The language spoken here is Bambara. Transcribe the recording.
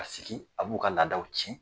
A sigi, a b'u ka laadaw tiɲɛ.